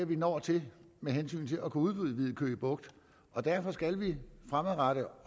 vi når til med hensyn til at kunne udvide ved køge bugt derfor skal vi fremadrettet og